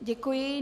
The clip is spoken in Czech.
Děkuji.